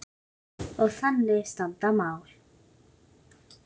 Og þannig standa mál.